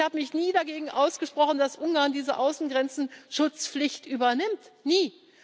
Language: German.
Ich habe mich nie dagegen ausgesprochen, dass Ungarn diese Außengrenzenschutzpflicht übernimmt, nie.